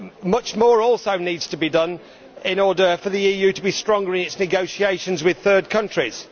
Much more also needs to be done in order for the EU to be stronger in its negotiations with third countries.